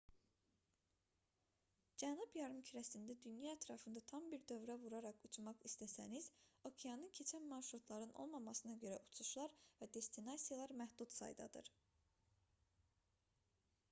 cənub yarımkürəsində dünya ətrafında tam bir dövrə vuraraq uçmaq istəsəniz okeanı keçən marşrutların olmamasına görə uçuşlar və destinasiyalar məhdud saydadır